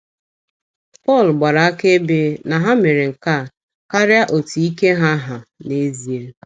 Pọl gbara akaebe na ha mere nke a “ karịa otú ike ha hà n’ezie. ”